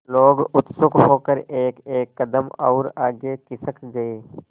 लोग उत्सुक होकर एकएक कदम और आगे खिसक गए